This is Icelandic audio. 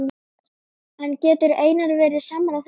En getur Einar verið sammála því?